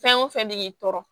Fɛn o fɛn de k'i tɔɔrɔ